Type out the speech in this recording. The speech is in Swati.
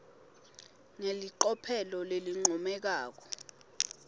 ngelicophelo lelincomekako